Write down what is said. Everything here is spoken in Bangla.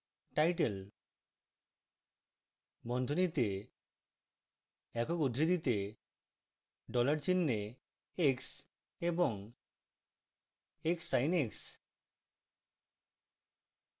title বন্ধনীতে একক উদ্ধৃতিতে dollar চিহ্নে x এবং xsin x